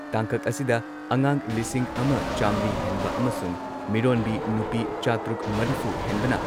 ꯇꯥꯡꯀꯛ ꯑꯁꯤꯗ ꯑꯉꯥꯡ ꯂꯤꯁꯤꯡ ꯑꯃ ꯆꯥꯝꯔꯤ ꯍꯦꯟꯕ ꯑꯃꯁꯨꯡ ꯃꯤꯔꯣꯟꯕꯤ ꯅꯨꯄꯤ ꯆꯥꯇꯔꯨꯛ ꯃꯔꯤꯐꯨ ꯍꯦꯟꯕꯅ